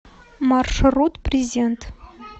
маршрут презент